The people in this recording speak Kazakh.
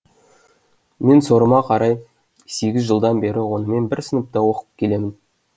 мен сорыма қарай сегіз жылдан бері онымен бір сыныпта оқып келемін